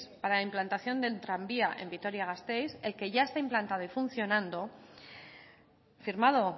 para la implantación del tranvía en vitoria gasteiz el que ya está implantado y funcionando firmado